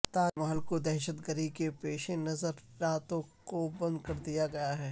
تاج محل کو دہشت گردی کے پیش نظر راتوں کو بند کر دیا گیا ہے